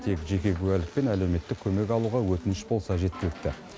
тек жеке куәлік пен әлеуметтік көмек алуға өтініш болса жеткілікті